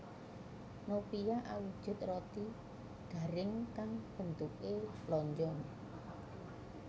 Nopia awujud roti garing kang bentukè lonjong